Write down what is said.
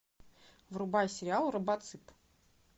врубай сериал робоцып